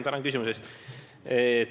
Tänan küsimuse eest!